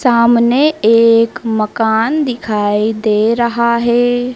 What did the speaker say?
सामने एक मकान दिखाई दे रहा है।